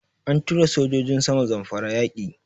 An tura sojojin sama Zamfara yaƙi.